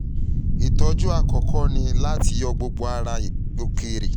ìtójú àkọ́kọ́ ni láti yọ gbogbo ara òkèèrè tó ń fa ìrẹ̀wẹ̀sì sí àgbègbè náà